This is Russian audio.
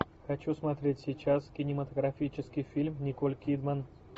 хочу смотреть сейчас кинематографический фильм николь кидман